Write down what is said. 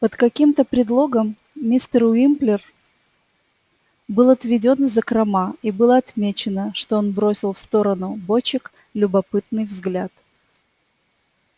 под каким-то предлогом мистер уимплер был отведён в закрома и было отмечено что он бросил в сторону бочек любопытный взгляд